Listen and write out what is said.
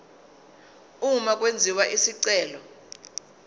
uma kwenziwa isicelo